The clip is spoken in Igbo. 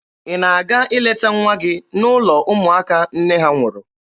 Ị na-aga ileta nwa gị n'ụlọ ụmụaka nne ha nwụrụ?